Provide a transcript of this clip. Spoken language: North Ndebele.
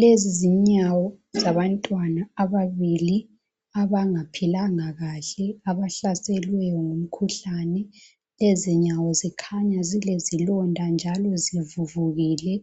lezi zinyawo zabantwana ababili abangaphilanga kahle abahlaselwe ngumkhuhlane lezinyawo zikhanya zilezilonda njalo zivuvukile